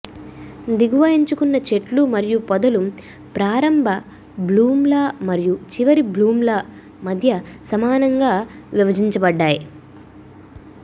దిగువ ఎంచుకున్న చెట్లు మరియు పొదలు ప్రారంభ బ్లూమ్ల మరియు చివరి బ్లూమ్ల మధ్య సమానంగా విభజించబడ్డాయి